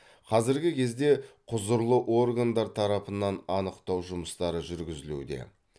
қазіргі кезде құзырлы органдар тарапынан анықтау жұмыстары жүргізілуде